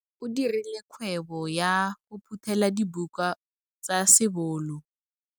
O dirile kgwebo ya go phuthela dibuka tsa sebolo.